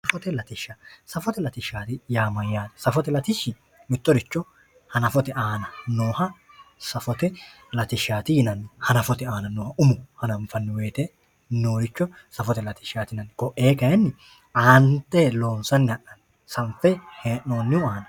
Safote latishsha, safote latishshaati yaa mayyaate? Safote latishshi mittoricho hanafote aana nooha safote latishshaati yinanni. Hanafote aana nooha umo hananfanniwote nooricho safote latishshaati yinanni. Ko'ee kayinni aante loonsanni ha'nanni sanfe hee'noonniwa.